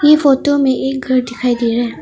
ये फोटो में एक घर दिखाई दे रहा है।